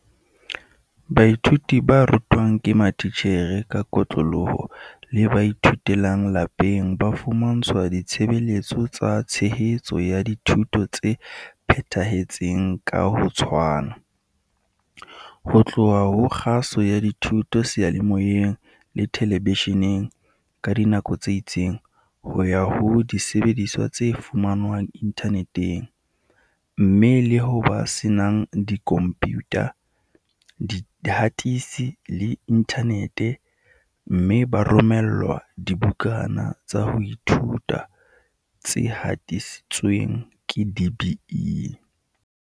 Baithuti ba rutwang ke matitjhere ka kotloloho le ba ithutelang lapeng ba fumantshwa ditshebeletso tsa tshehetso ya dithuto tse phethahetseng ka ho tshwana, ho tloha ho kgaso ya dithuto seyalemoyeng le telebesheneng ka dinako tse itseng, ho ya ho disebediswa tse fumanwang inthaneteng, mme, le ho ba senang dikhompiyutha, dihatisi le inthanete - mme ba romellwa dibukana tsa ho ithuta tse hatisitsweng ke DBE.